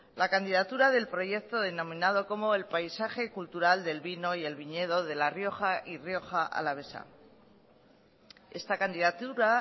la candidatura del proyecto denominado como el paisaje cultural del vino y el viñedo de la rioja y rioja alavesa esta candidatura